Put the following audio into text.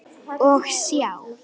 Hvað segið þér?